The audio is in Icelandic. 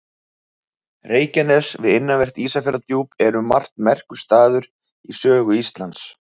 Reykjanes við innanvert Ísafjarðardjúp er um margt merkur staður í sögu Íslands.